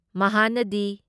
ꯃꯍꯥꯅꯗꯤ